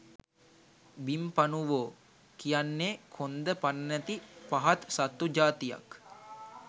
බිම්පණුවෝ කියන්නේ කොන්ද පණ නැති පහත් සත්තු ජාතියක්